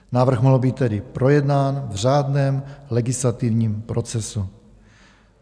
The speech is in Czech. Návrh mohl být tedy projednán v řádném legislativním procesu.